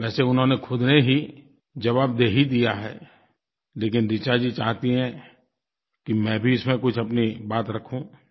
वैसे उन्होंने ख़ुद ने ही जवाब दे ही दिया है लेकिन ऋचा जी चाहती हैं कि मैं भी इसमें कुछ अपनी बात रखूँ